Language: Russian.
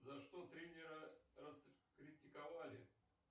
за что тренера раскритиковали